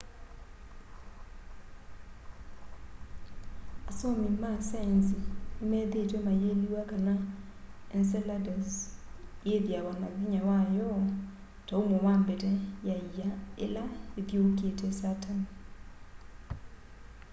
asomi ma saenzi nimethiitwe mayiliwa kana ence ladus yithiawa na vinya wayo ta umo wa mbete ya ia ila yithiuukite saturn